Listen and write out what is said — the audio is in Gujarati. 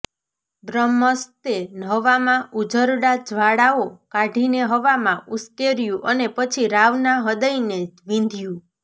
બ્રહ્મસ્તે હવામાં ઉઝરડા જ્વાળાઓ કાઢીને હવામાં ઉશ્કેર્યું અને પછી રાવના હૃદયને વીંધ્યું